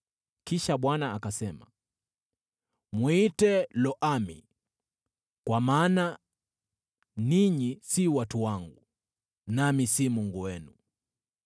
Kisha Bwana akasema, “Mwite Lo-Ami kwa maana ninyi si watu wangu, nami si Mungu wenu.